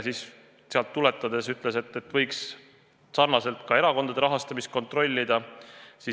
Sellest lähtudes ta ütles, et võiks sarnaselt ka erakondade rahastamist kontrollida.